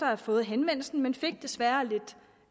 have fået henvendelsen men jeg fik desværre et lidt